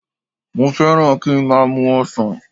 Mo fẹ́ràn kí n má a mu ọsàn